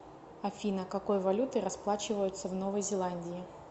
афина какой валютой расплачиваются в новой зеландии